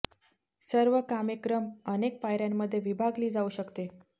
सर्व कामे क्रम अनेक पायऱ्यांमध्ये विभागली जाऊ शकते